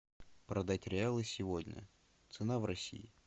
продать реалы сегодня цена в россии